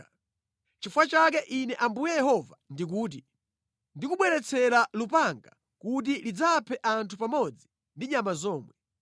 “ ‘Nʼchifukwa chake Ine Ambuye Yehova ndikuti, ndikubweretsera lupanga kuti lidzaphe anthu pamodzi ndi nyama zomwe.